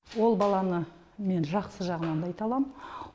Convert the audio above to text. ол баланы мен жақсы жағынан айта аламын